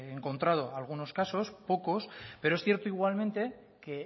encontrado algunos casos pocos pero es cierto igualmente que